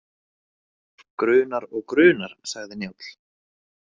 Grunar og grunar, sagði Njáll.